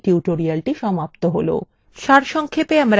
সারসংক্ষেপে আমরা শিখেছি